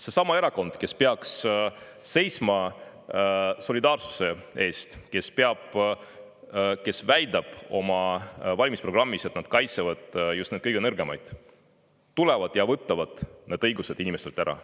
Seesama erakond, kes peaks seisma solidaarsuse eest, kes väidab oma valimisprogrammis, et nad kaitsevad just neid kõige nõrgemaid, tuleb ja võtab need õigused inimestelt ära.